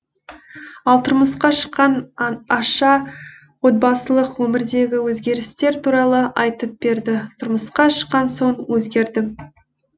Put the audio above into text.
ал тұрмысқа шыққан аша отбасылық өмірдегі өзгерістер туралы айтып берді тұрмысқа шыққан соң өзгердім